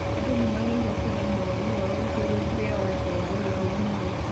Andũ nĩ magĩrĩirwo kũheana woni wao igũrũ rĩa watho wa ũrĩhi wa magoti